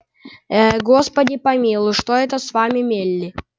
ээ господи помилуй что это с вами мелли